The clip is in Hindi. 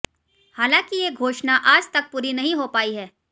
हालांकि ये घोषणा आज तक पूरी नहीं हो पाई है